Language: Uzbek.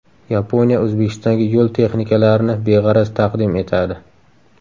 Yaponiya O‘zbekistonga yo‘l texnikalarini beg‘araz taqdim etadi.